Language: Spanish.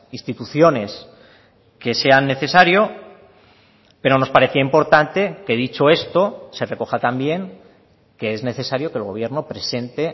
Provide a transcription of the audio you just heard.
instituciones que sean necesario pero nos parecía importante que dicho esto se recoja también que es necesario que el gobierno presente